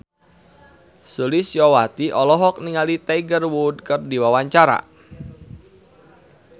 Sulistyowati olohok ningali Tiger Wood keur diwawancara